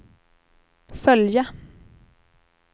följa